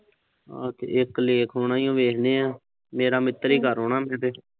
ਇੱਕ ਲੇਖ ਹੋਣਾ ਈ ਆ। ਉਹ ਵੇਖ ਲਿਆ। ਮੇਰਾ ਮਿੱਤਰ ਹੀ ਕਰਲਾਂ ਗੇ